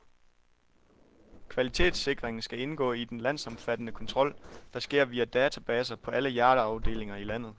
Kvalitetssikringen skal indgå i den landsomfattende kontrol, der sker via databaser på alle hjerteafdelinger i landet.